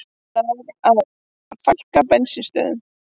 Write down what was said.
Lag að fækka bensínstöðvum